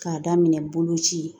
K'a daminɛ boloci